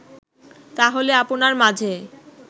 তাহলে আপনার মাঝে